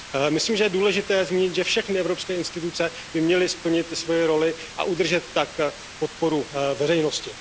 Myslím, že je důležité zmínit, že všechny evropské instituce by měly splnit svoji roli a udržet tak podporu veřejnosti.